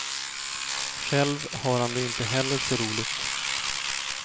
Själv har han det inte heller så roligt.